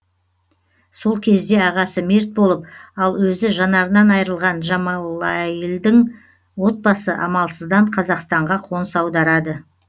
сол кезде ағасы мерт болып ал өзі жанарынан айырылған джамалайлдың отбасы амалсыздан қазақстанға қоныс аударады